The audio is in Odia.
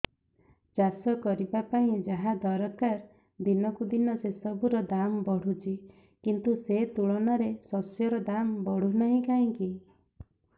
ଚାଷ କରିବା ପାଇଁ ଯାହା ଦରକାର ଦିନକୁ ଦିନ ସେସବୁ ର ଦାମ୍ ବଢୁଛି କିନ୍ତୁ ସେ ତୁଳନାରେ ଶସ୍ୟର ଦାମ୍ ବଢୁନାହିଁ କାହିଁକି